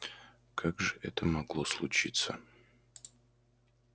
как же это могло случиться